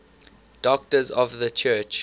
doctors of the church